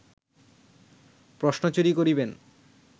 প্রশ্ন চুরি করিবেন